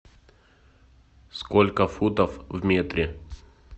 сколько футов в метре